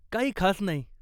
काही खास नाही.